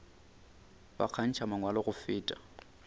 ba kgantšha mangwalo go feta